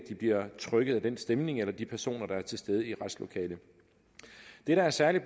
bliver trykket af den stemning eller de personer der er til stede i retslokalet det der er særlig